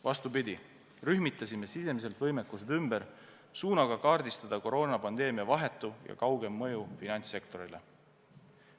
Vastupidi, rühmitasime sisemiselt võimekused ümber, et kaardistada koroonapandeemia vahetu ja kaugem mõju finantssektorile.